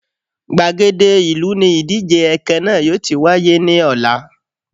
Gbàgede ìlú ni ìdíje ẹkẹ náà yóò ti wáyé ní ọ̀la